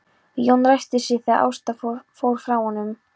Jón ræskti sig þegar Ásta fór frá honum.